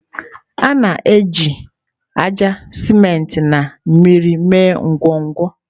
A na-eji ájá, siment na mmiri mee ngọngọ.